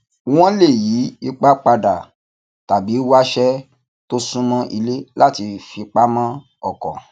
wọn lè yí ipa padà tàbí wáṣé tó sún mó ilé láti fipamọ ọkọ